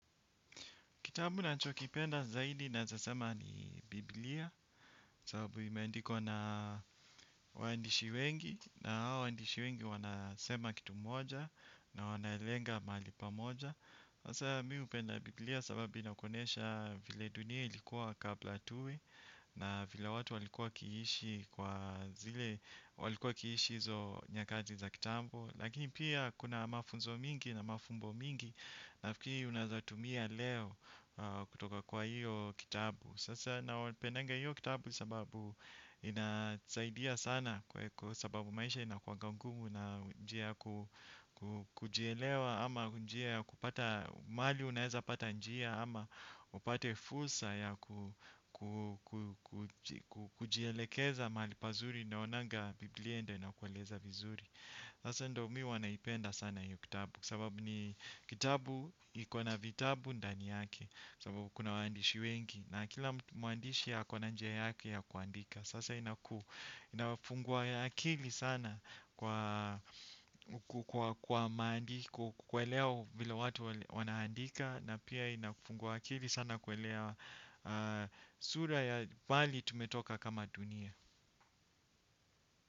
Kitambu nacho kipenda zaidi naezasema ni Biblia, sababu imendikwa na waandishi wengi, na hawa waandishi wengi wanasema kitu moja, na wanaelenga mahali pamoja. Hasa mi upenda Biblia sababu inakuonesha vile dunia ilikuwa kabla tuwe, na vile watu walikuwa kiishi kwa zile, walikuwa kiishi hizo nyakati za kitambo. Lakini pia kuna mafunzo mingi na mafumbo mingi, nafikii unaezatumia leo kutoka kwa hiyo kitabu. Sasa nao penenga hiyo kitabu sababu inasaidia sana. Kwa sababu maisha ina kuwanga ngumu na njia kujielewa. Ama njia ya kupata mahali unaeza pata njia. Ama upate fursa ya kujielekeza mahali pazuri. Naonanga biblia ndio ina kueleza vizuri. Sasa ndo mi uwa naipenda sana hiyo kitabu sababu ni kitabu ikona vitabu ndani yake sababu kuna waandishi wengi na kila mwandishi ako na njia yake ya kuandika sasa inakuu inawafungua akili sana kwa maandiko kuelewa vile watu wanaandika na pia inafungua akili sana kuelewa sura ya bali tumetoka kama dunia.